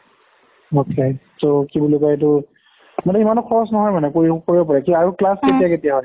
okay! ত কি বুলি কয় এইটো, ইমানো খৰচ নহয় মানে কৰিলে কৰিব পাৰি। কি আৰু class কেতিয়া কেতিয়া হয়?